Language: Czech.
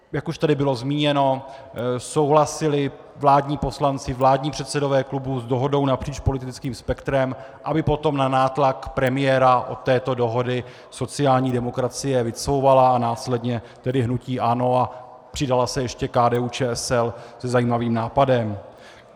Jak už tady bylo zmíněno, souhlasili vládní poslanci, vládní předsedové klubů, s dohodou napříč politickým spektrem, aby potom na nátlak premiéra od této dohody sociální demokracie vycouvala a následně tedy hnutí ANO a přidala se ještě KDU-ČSL se zajímavým nápadem.